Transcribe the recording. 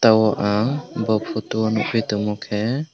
bo ang bo photo o nukgui tongmo khe.